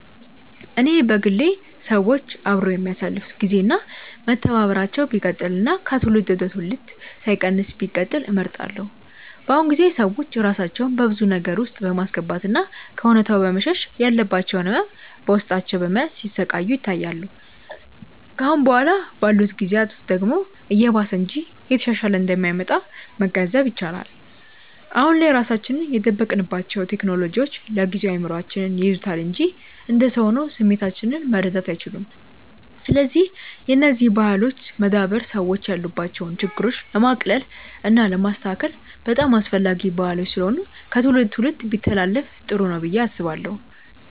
እኔ በግሌ ሰዎች አብረው የሚያሳልፋት ግዜ እና መተባበራቸው ቢቀጥል እና ከትውልድ ወደ ትውልድ ሳይቀንስ ቢቀጥል እመርጣለሁ። በአሁኑ ጊዜ ሰዎች ራሳቸውን በብዙ ነገር ውስጥ በማስገባት እና ከእውነታው በመሸሽ ያለባቸውን ህመም በውስጣቸው በመያዝ ሲሰቃዩ ይታያል። ከአሁን በኋላ ባሉት ጊዜያት ደግሞ እየባሰ እንጂ እየተሻሻለ እንደማይመጣ መገንዘብ ይቻላል። አሁን ላይ ራሳችንን የደበቅንባቸው ቴክኖሎጂዎች ለጊዜው እይምሮአችንን ይይዙታል እንጂ እንደ ሰው ሆነው ስሜቶቻችንን መረዳት አይችሉም። ስለዚህ የነዚህ ባህሎች መዳበር ሰዎች ያሉባቸውን ችግሮች ለማቅለል እና ለማስተካከል በጣም አስፈላጊ ባህሎች ስለሆኑ ከትውልድ ትውልድ ቢተላለፋ ጥሩ ነው ብዬ አስባለሁ።